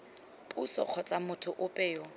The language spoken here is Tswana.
puso kgotsa motho ope yo